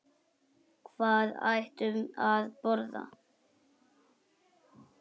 Við hættum að borða.